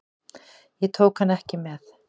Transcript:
Ég tók hann ekki með.